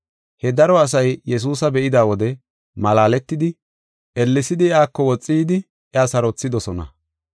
He daro asay Yesuusa be7ida wode malaaletidi, ellesidi iyako woxi yidi, iya sarothidosona.